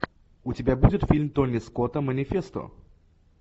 у тебя будет фильм тони скотта манифесто